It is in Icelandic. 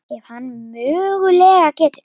Ef hann mögulega getur.